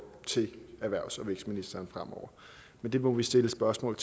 til erhvervs og vækstministeren fremover men det må vi stille spørgsmål